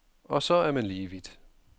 Og så er man lige vidt.